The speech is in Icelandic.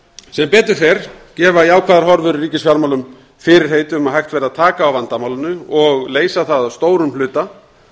sem betur fer gefa jákvæðar horfur í ríkisfjármálum fyrirheit um að hægt verði að taka á vandamálinu og leysa það að stórum hluta